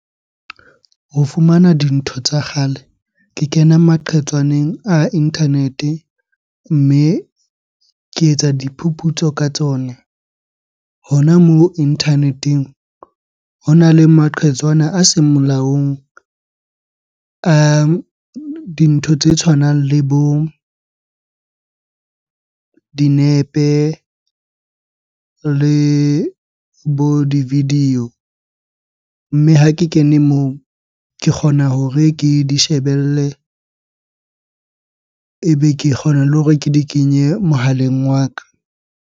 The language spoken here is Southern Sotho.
Ho fumana dintho tsa kgale, ke kena maqhetswaneng a internet-e mme ke etsa diphuputso ka tsona. Hona moo internet-eng hona le maqhetswana a seng molaong. Dintho tse tshwanang le bo dinepe le bo di video. Mme ha ke kene moo, ke kgona hore ke di shebelle ebe ke kgona le hore ke di kenye mohaleng wa ka.